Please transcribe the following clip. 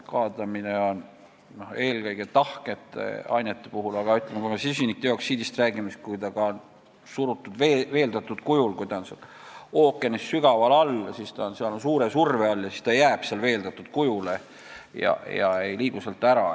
Kaadamine on eelkõige tahkete ainete puhul, aga, ütleme, kui me süsinikdioksiidist räägime: kui ta on surutud, veeldatud kujul, ookeanis sügaval all, siis on ta seal suure surve all ja siis ta jääbki seal veeldatud kujule ega liigu sealt ära.